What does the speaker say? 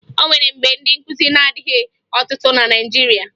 O nwere mgbe ndị nkụzi na-adịghị ọtụtụ na Naịjirịa